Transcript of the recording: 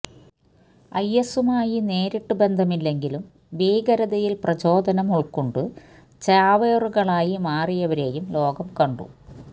ഐഎസുമായി നേരിട്ടു ബന്ധമില്ലെങ്കിലും ഭീകരതയിൽ പ്രചോദനം ഉൾക്കൊണ്ടു ചാവേറുകളായി മാറിയവരെയും ലോകം കണ്ടു